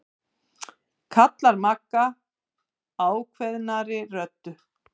Hraun hefur runnið ofan í hann og fyllt.